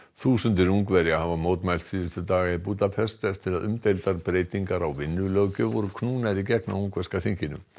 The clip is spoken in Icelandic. þúsundir Ungverja hafa mótmælt síðustu daga í Búdapest eftir að umdeildar breytingar á vinnulöggjöf landsins voru knúnar í gegn á ungverska þinginu